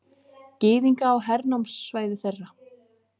Gyðinga á hernámssvæði þeirra.